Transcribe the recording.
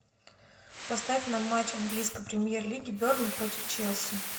поставь нам матч английской премьер лиги бернли против челси